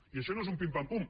i això no és un pim pam pum